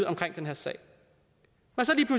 omkring den her sag og så